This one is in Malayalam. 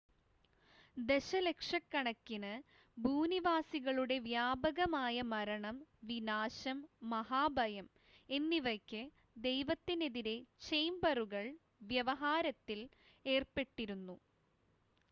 "ദശലക്ഷക്കണക്കിന് "ഭൂനിവാസികളുടെ വ്യാപകമായ മരണം വിനാശം മഹാഭയം" എന്നിവയ്ക്ക് ദൈവത്തിനെതിരെ ചേംബറുകൾ വ്യവഹാരത്തിൽ ഏർപ്പെട്ടിരുന്നു.